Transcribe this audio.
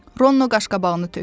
Ronno qaşqabağını tökdü.